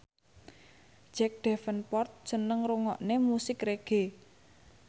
Jack Davenport seneng ngrungokne musik reggae